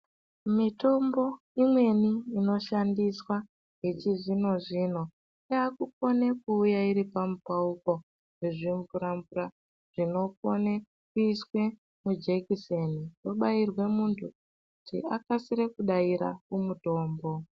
Mitombo imweni inoshandiswa yechizvino zvino yaakukone kuuye iri pamupauko yezvimvura mvura zvinokone kuiswe mujekiseni , wobairwa muntu kuti akasire kudaira kumutombo